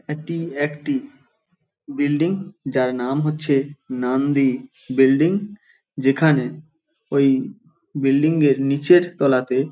এটি একটি বিল্ডিং যার নাম হচ্ছে নান্দী বিল্ডিং যেখানে ওই বিল্ডিং -এর নিচের তলাতে --